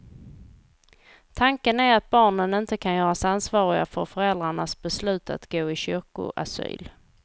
Tanken är att barnen inte kan göras ansvariga för föräldrarnas beslut att gå i kyrkoasyl.